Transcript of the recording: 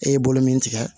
E ye bolo min tigɛ